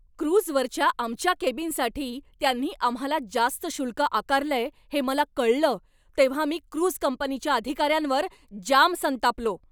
क्रूझवरच्या आमच्या केबिनसाठी त्यांनी आम्हाला जास्त शुल्क आकारलंय हे मला कळलं तेव्हा मी क्रूझ कंपनीच्या अधिकाऱ्यांवर जाम संतापलो.